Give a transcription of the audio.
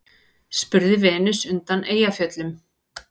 spurði Venus undan Eyjafjöllum.